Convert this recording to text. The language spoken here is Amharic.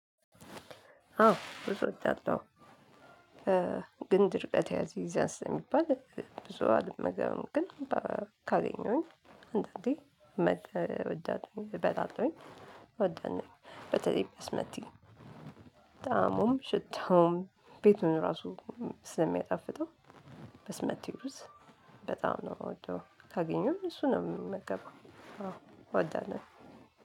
አዎ ብዙ እወዳለሁ። እ ግን ድርቀት ያሲዛል ስለሚባል ብዙ አልመገብም። ግን ካገኘሁኝ አንዳንዴ መደ እወዳለሁኝ እበላለሁኝ በተለይ በስመቲ። ጠአሙም ሽታውም ቤቱን ራሱ ስለሚያጣፍጠው። በስመቲ ሩዝ በጣም ነው የምወደው ካገኘሁኝ እሱ ነው የምመገበው። አዎ እወዳለሁ።